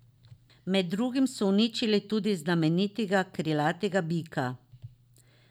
Med drugim so uničili tudi znamenitega krilatega bika.